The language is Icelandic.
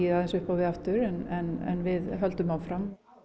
aðeins upp á við aftur en við höldum áfram